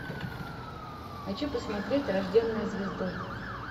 хочу посмотреть рожденная звездой